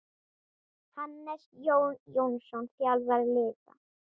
Hannes Jón Jónsson þjálfar liðið.